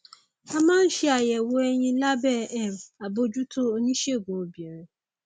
a máa ń ṣe àyẹwò ẹyin lábẹ um àbójútó oníṣègùn obìnrin